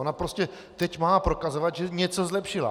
Ona prostě teď má prokazovat, že něco zlepšila.